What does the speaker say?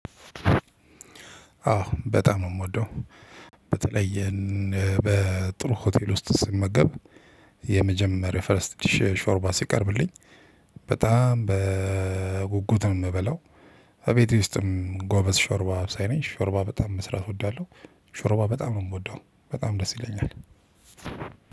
አዎ በጣም ነው የምወደው በተለይ በጥሩ ሆቴል ውስጥ ስመገብ የመጀመሪያ ፈርስት ዲሽ ሾርባ ሲቀርብልኝ በጣም በጉጉት ነው የምበለው። በቤቴ ውስጥም ጎበዝ ሾርባ አብሳይ ነኝ ሾርባ በጣም መስራት እወዳለሁ። ሾርባ በጣም ነው የምወደው በጣም ደስ ይለኛል።